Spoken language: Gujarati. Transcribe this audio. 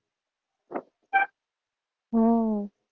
હમ